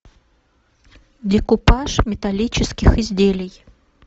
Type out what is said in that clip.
декупаж металлических изделий